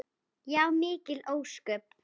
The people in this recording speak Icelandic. Já, mikil ósköp.